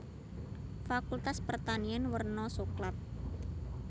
Fakultas Pertanian werna soklat